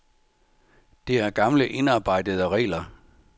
Det er gamle indarbejdede regler.